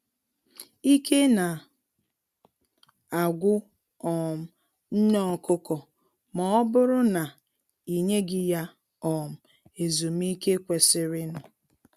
Ike na agwụ um nne ọkụkọ ma ọbụrụ na i nyeghị ya um ezumiike kwesịrịnụ